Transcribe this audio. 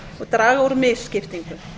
og draga úr misskiptingu